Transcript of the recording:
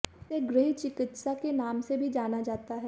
इसे गृह चिकित्सा के नाम से भी जाना जाता है